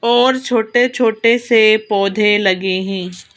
और छोटे-छोटे से पौधे लगे हैं।